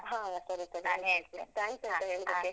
ಹ ಸರಿ ಸರಿ thanks ಆಯ್ತಾ ಹೇಳಿದಕ್ಕೆ.